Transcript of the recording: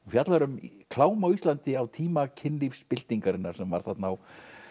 fjallar um klám á Íslandi á tíma kynlífsbyltingarinnar sem var þarna á